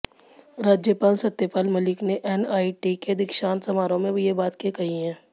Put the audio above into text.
राज्यपाल सत्यपाल मलिक ने एनआइटी के दीक्षांत समारोह में ये बाते कहीं